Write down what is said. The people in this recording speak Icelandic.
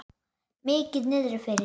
Mikið niðri fyrir.